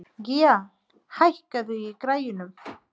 Gía, hækkaðu í græjunum.